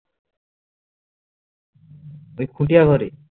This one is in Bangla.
ওই খুতিয়া ঘরে